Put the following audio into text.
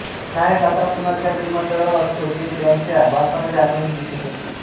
नायक आता पुन्हा त्याच विमानतळावर असतो जे त्याच्या बालपणाच्या आठवणीत दिसत असते